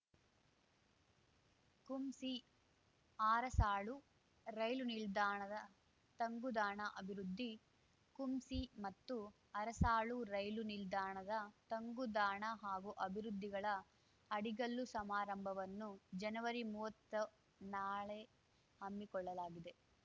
ಕುಂಸಿಆರಸಾಳು ರೈಲು ನಿಲ್ದಾಣದ ತಂಗುದಾಣ ಅಭಿವೃದ್ಧಿ ಕುಂಸಿ ಮತ್ತು ಅರಸಾಳು ರೈಲು ನಿಲ್ದಾಣದ ತಂಗುದಾಣ ಹಾಗೂ ಅಭಿವೃದ್ಧಿಗಳ ಅಡಿಗಲ್ಲು ಸಮಾರಂಭವನ್ನು ಜನವರಿ ಮುವ್ವತ್ತು ನಾಳೆ ಹಮ್ಮಿಕೊಳ್ಳಲಾಗಿದೆ